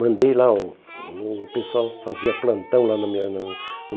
Mandei lá, o o pessoal fazia plantão lá no minha no no